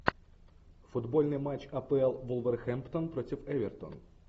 футбольный матч апл вулверхэмптон против эвертон